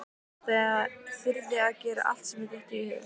Þyrði að gera allt sem mér dytti í hug.